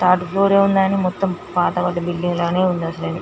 Third floor లాగానే ఉంది మొత్తం పాత పడ్డ బిల్డింగ్ లాగా ఉంది.